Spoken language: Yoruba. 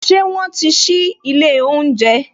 Ṣé wọn ti sí ilé oúnjẹ